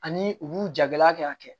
Ani u b'u jagɛlaya kɛ ka kɛ